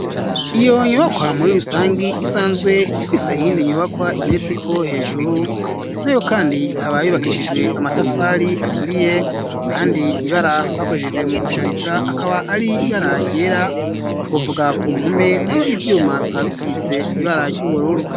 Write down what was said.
Iyo nyubakwa muri rusangi isanzwe ifise iyindi nyubakwa igeretseko hejuru nayo kandi ikaba yubakishijwe amatafari aturiye kandi ibara bakoresheje mu gushariza akaba ari ibara ryera twovuga ku mpome nayo ivyuma bikaba bisize ibara ry'ubururu.